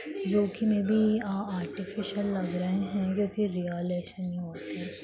जो कि maybe uh artificial लग रहें हैं क्युकी रियल ऐसे नही होते।